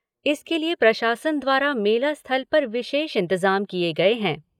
इसके लिए प्रशासन द्वारा मेला स्थल पर विशेष इंतजाम किए गए हैं।